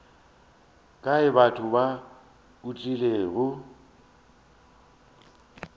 kae batho ba o tlilego